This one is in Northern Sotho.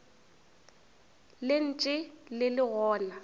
le ntše le le gona